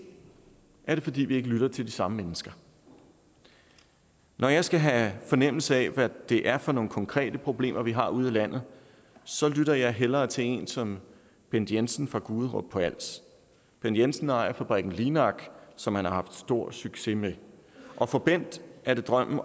er det fordi vi ikke lytter til de samme mennesker når jeg skal have fornemmelse af hvad det er for nogle konkrete problemer vi har ude i landet så lytter jeg hellere til en som bent jensen fra guderup på als bent jensen ejer fabrikken linak som han har haft stor succes med og for bent er drømmen